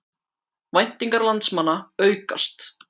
Væntingar landsmanna aukast